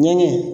Ɲɛgɛn